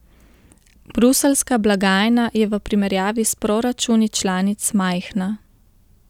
Bruseljska blagajna je v primerjavi s proračuni članic majhna.